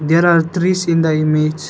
There are trees in the image.